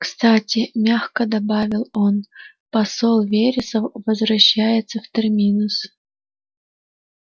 кстати мягко добавил он посол вересов возвращается в терминус